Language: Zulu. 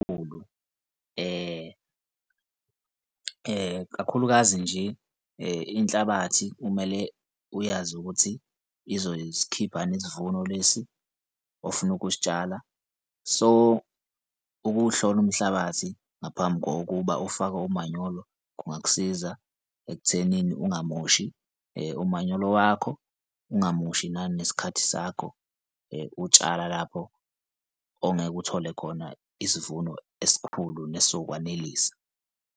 Kakhulukazi nje inhlabathi kumele uyazi ukuthi izosikhipha yini isivuno lesi ofuna ukusitshala. So, ukuwuhlola umhlabathi ngaphambi kokuba ufake umanyolo kungakusiza ekuthenini ungamoshi umanyolo wakho, ungamoshi nanesikhathi sakho utshala lapho ongeke uthole khona isivuno esikhulu nasokwaneliseka.